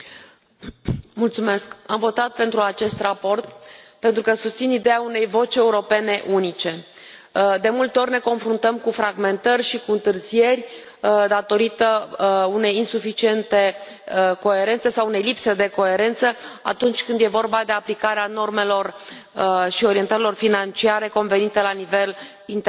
Domnule președinte, am votat pentru acest raport pentru că susțin ideea unei voci europene unice. De multe ori ne confruntăm cu fragmentări și cu întârzieri datorită unei insuficiente coerențe sau a unei lipse de coerență atunci când e vorba de aplicarea normelor și orientărilor financiare convenite la nivel internațional.